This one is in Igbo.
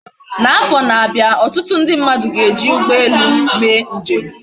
Na afo na abia, otutu ndi mmadu ga eji ugbo elu mee njem